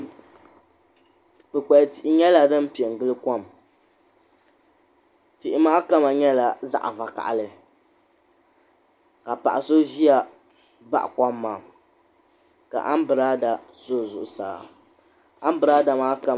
Kpikpal tihi nyɛla piɛngili kom tihi maa kama nyɛla zaɣa vakahali ka paɣa so ʒia baɣa kom maa ka abirada sa o zuɣusaa ambrada maa kama.